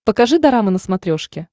покажи дорама на смотрешке